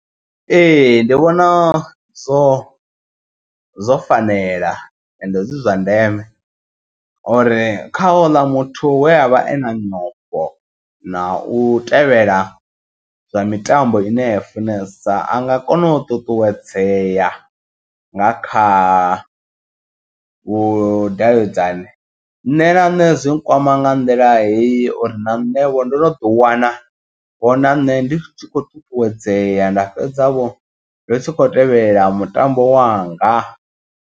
Ee ndi vhona zwo zwo fanela ende zwi zwa ndeme uri kha houḽa muthu we avha e na nyofho na u tevhela zwa mitambo ine ya funesa. Anga kona u ṱuṱuwedzea nga kha vhudavhidzani nṋe na nṋe zwi nkwama. Nga nḓila heyi uri na nṋe ndo no ḓi wana hu na nṋe ndi tshi khou ṱuṱuwedzea. Nda fhedza vho ndi tshi kho tevhelela mutambo wanga.